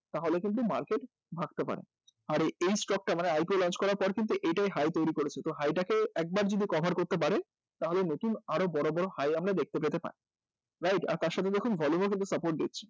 তাহলে কিন্তু market ভাবতে পারেন আর এই stock টা IPO launch করার পর কিন্তু এটাই high তৈরি করেছে তো high টা কে একবার যদি cover করতে পারে তাহলে নতুন আরও বড় বড় high আমরা দেখতে পেতে পারি right? আর তার সাথে দেখুন volume ও কিন্তু support দিচ্ছে